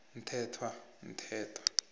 mthethwa v mthethwa